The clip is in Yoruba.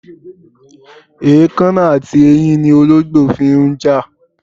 Èkánná àti eyín ni olóǹgbò fi ń jà.